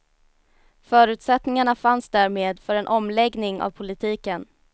Förutsättningarna fanns därmed för en omläggning av politiken.